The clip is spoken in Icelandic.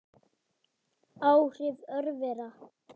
Áhrif örvera